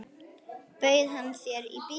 Bauð hann þér í bíó?